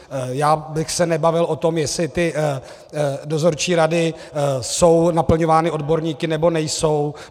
Já bych se nebavil o tom, jestli ty dozorčí rady jsou naplňovány odborníky, nebo nejsou.